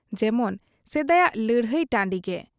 ᱡᱮᱢᱚᱱ ᱥᱮᱫᱟᱭᱟᱜ ᱞᱟᱹᱲᱦᱟᱹᱭ ᱴᱟᱺᱰᱤᱜᱮ ᱾